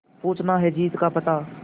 पूछना है जीत का पता